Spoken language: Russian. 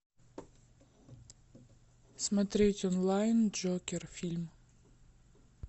смотреть онлайн джокер фильм